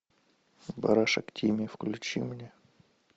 барашек тимми включи мне